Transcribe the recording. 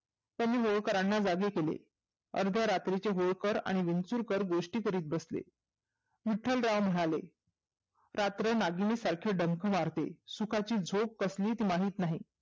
त्यांनी होळकरांना जागी केले. अर्ध्या रात्रीचे होळकर आणि विंचुरकर गोष्टी करत बसले. विठ्ठलराव म्हणाले रात्र नागिनी सारखी डंक मारते. सुखाची झोप कसलीच माहीत नाही.